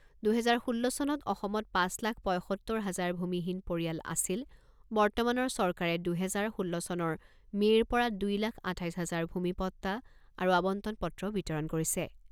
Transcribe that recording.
দুহেজাৰ ষোল্ল চনত অসমত পাঁচ লাখ পঁইসত্তৰ হাজাৰ ভূমিহীন পৰিয়াল আছিল বৰ্তমানৰ চৰকাৰে দুহেজাৰ ষোল্ল চনৰ মে'ৰ পৰা দুই লাখ আঠাইছ হাজাৰ ভূমিপট্টা আৰু আৱণ্টন পত্ৰ বিতৰণ কৰিছে।